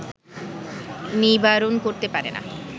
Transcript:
নিবারণ করতে পারে না